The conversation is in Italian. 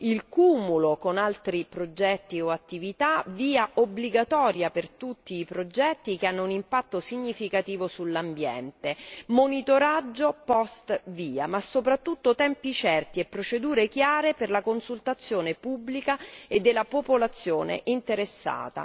il cumulo con altri progetti o attività, VIA obbligatoria per tutti i progetti che hanno un impatto significativo sull'ambiente, monitoraggio post VIA, ma soprattutto tempi certi e procedure chiare per la consultazione pubblica e della popolazione interessata.